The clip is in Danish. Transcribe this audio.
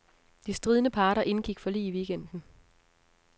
De stridende parter indgik forlig i weekenden.